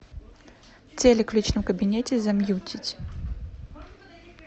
телек в личном кабинете замьютить